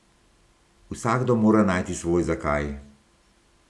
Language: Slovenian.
Vsakdo mora najti svoj zakaj?